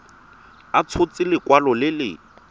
a tshotse lekwalo le le